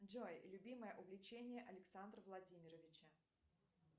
джой любимое увлечение александра владимировича